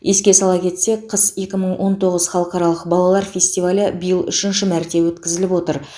еске сала кетсек қыс екі мың он тоғыз халықаралық балалар фестивалі биыл үшінші мәрте өткізіліп отыр